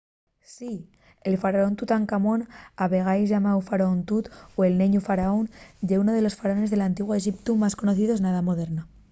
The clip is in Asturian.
¡sí! el faraón tutancamón a vegaes llamáu faraón tut” o el neñu faraón” ye ún de los faraones del antiguu exiptu más conocios na edá moderna